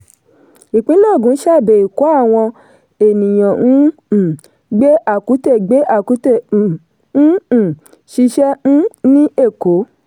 ìpínlẹ̀ ògùn ṣàbẹ̀ èkó àwọn ènìyàn ń um gbé àkútè gbé àkútè ń um ṣiṣẹ́ um ní èkó.